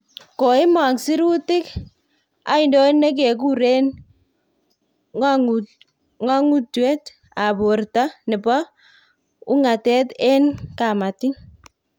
Koimong sirutik aindon nekikuren ngongutuet ab borta nebo wungatet en kamatik